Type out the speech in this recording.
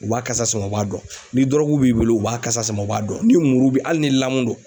U b'a kasa sama u b'a dɔn. Ni dɔrɔgu b'i bolo u b'a kasa sama u b'a dɔn, ni muru bɛ hali ni lamu don.